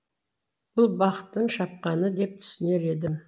бұл бақтың шапқаны деп түсінер едім